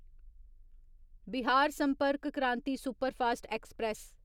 Bihar Sampark Kranti superfast express